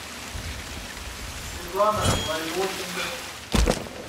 светлана лариощенко